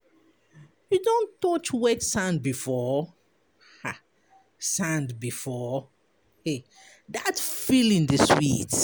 You don touch wet sand before? um sand before? um dat feeling dey sweet.